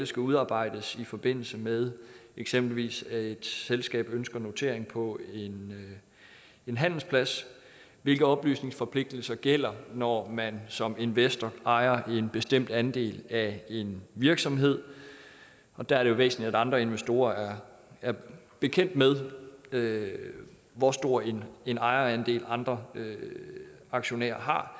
skal udarbejdes i forbindelse med eksempelvis at et selskab ønsker notering på en handelsplads hvilke oplysningsforpligtelser gælder når man som investor ejer en bestemt andel af en virksomhed og der er det jo væsentligt at andre investorer er bekendt med med hvor stor en en ejerandel andre aktionærer har